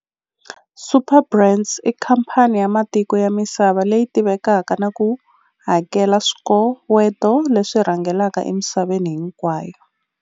Superbrands i khamphani ya matiko ya misava leyi tivekaka na ku hakela swikoweto leswi rhangelaka emisaveni hinkwayo.